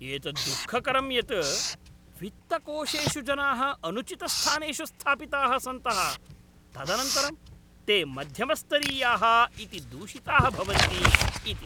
एतद्दुःखकरं यत् वित्तकोशेषु जनाः अनुचितस्थानेषु स्थापिताः सन्तः तदनन्तरं ते मध्यमस्तरीयाः इति दूषिताः भवन्ति इति।